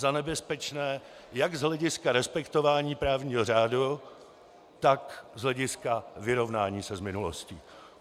Za nebezpečné jak z hlediska respektování právního řádu, tak z hlediska vyrovnání se s minulostí.